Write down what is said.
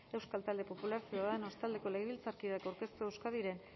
euskal talde popularra ciudadanos taldeko legebiltzarkideak aurkeztua euskadiren